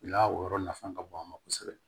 La o yɔrɔ nafa ka bon an ma kosɛbɛ